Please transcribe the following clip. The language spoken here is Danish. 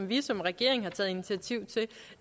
vi som regering har taget initiativ til